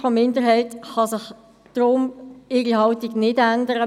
Die FiKo-Minderheit kann deshalb ihre Haltung nicht ändern.